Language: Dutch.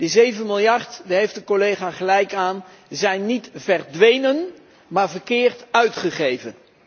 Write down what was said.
Die zeven miljard daar heeft de collega gelijk in zijn niet verdwenen, maar verkeerd uitgegeven.